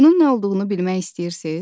Bunun nə olduğunu bilmək istəyirsiz?